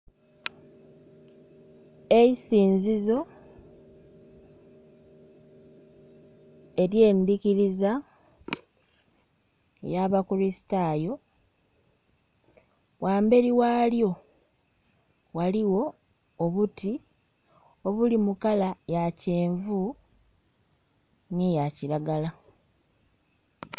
Eisinzizo erye ndhikiriza eya ba kuristayo ghamberi ghalyo ghaligho obuti obuli mu kalala ya kyenvu nhe eya kiragala.